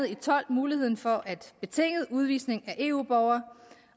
og tolv muligheden for betinget udvisning af eu borgere